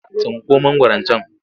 Tsinko mangwaron can!